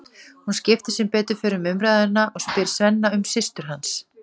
Hún skiptir sem betur fer um umræðuefni og spyr Svenna um systur hans.